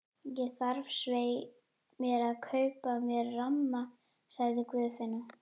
Ég þarf svei mér að kaupa mér ramma, sagði Guðfinna.